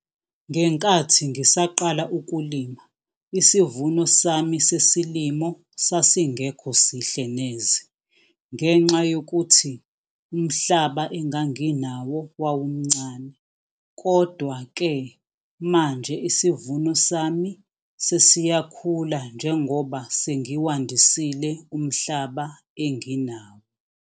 Ngenkathi ngisaqala ukulima isivuno sami sesilimo sasingekho sihle neze ngenxa yokuthi umhlaba enganginawo wawumncane. Kodwa-ke manje isivuno sami sesiyakhula njengoba sengiwandisile umhlaba enginawo.